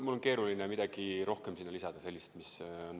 Mul on keeruline midagi mõistlikku sellele lisada.